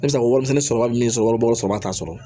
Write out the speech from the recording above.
Ne bɛ se ka warimisɛn sɔrɔ min sɔrɔ wasaba t'a sɔrɔ